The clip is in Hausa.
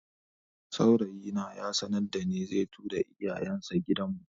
Saurayi na ya sanarda ni zai tura iyayen sa gidan mu